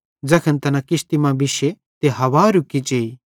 ज़ैखन तैना किश्ती मां बिशे ते हवां रुकी जेई